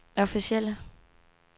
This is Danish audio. officielle